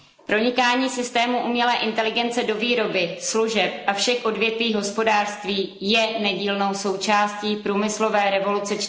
Pronikání systémů umělé inteligence do výroby, služeb a všech odvětví hospodářství je nedílnou součástí průmyslové revoluce